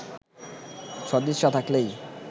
সদিচ্ছা থাকলেই